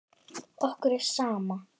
Okkur er sama.